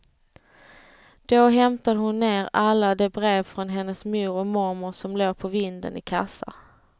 Då hämtade hon ned alla de brev från hennes mor och mormor som låg på vinden i kassar.